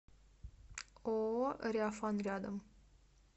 ооо реафан рядом